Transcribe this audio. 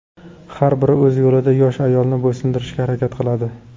Har biri o‘z yo‘lida yosh ayolni bo‘ysundirishga harakat qiladi.